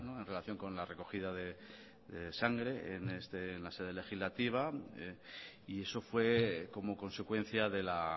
en relación con la recogida de sangre en la sede legislativa y eso fue como consecuencia de la